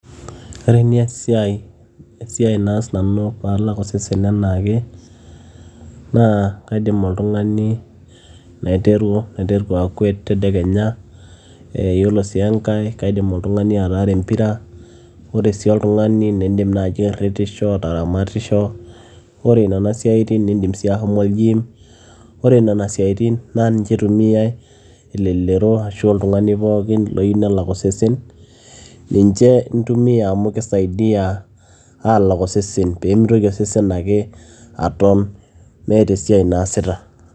ore neesia esiai naas nanu paalak osesen anaake naa kaidim oltung'ani naiteru, naiteru akwet tedekenya ee yiolo sii enkay kaidim oltung'ani ataara empira ore sii oltung'ani nindim naaji airritisho ataramatisho ore nena siatin nindim sii ahomo ol gym ore nena siaitin naa ninche itumiay elelero ashu oltung'ani pookin loyieu nelak osesen ninche intumia amu kisaidia aalak osesen peemitoki osesen ake aton meeta esiai naasita.